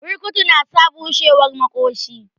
Burkutu na sa bushewar maƙoshi